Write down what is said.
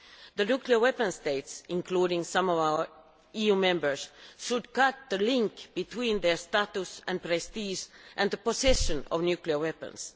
The nuclear weapon states, including some of our EU Member States, should cut the link between their status and prestige and the possession of nuclear weapons.